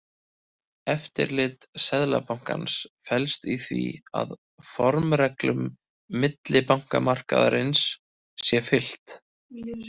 Eftirlit Seðlabankans felst í því að formreglum millibankamarkaðarins sé fylgt.